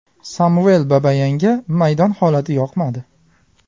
Samvel Babayanga maydon holati yoqmadi.